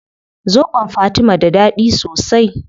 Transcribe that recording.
Zobon fatima da dadi sosai